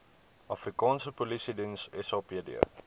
afrikaanse polisiediens sapd